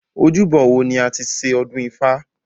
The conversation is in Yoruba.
Ojúbọ wo ni a ti ṣe ọdún ifá?